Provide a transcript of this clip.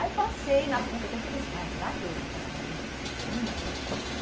Aí passei na PUC, até fiquei pensando, ai, será que eu faço um ano de cursinho?